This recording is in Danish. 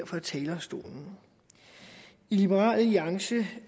fra talerstolen i liberal alliance